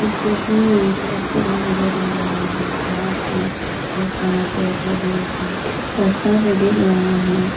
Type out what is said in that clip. इस तस्वीर में मुझे एक जगह दिखाई दे रहा हैं जहां पे ढेर सारा पेड़ पौधे है रास्ता भी दिख रहा हैं।